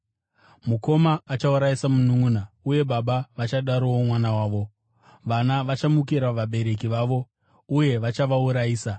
“Mukoma achaurayisa mununʼuna, uye baba vachadarowo mwana wavo. Vana vachamukira vabereki vavo uye vachavaurayisa.